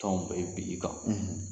Tɔnw bɛ bi i kan.